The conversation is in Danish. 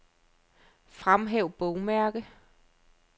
Fremhæv bogmærke.